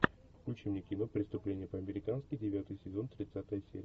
включи мне кино преступление по американски девятый сезон тридцатая серия